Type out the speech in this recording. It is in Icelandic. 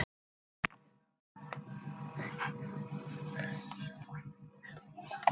Það er orðið bleikt!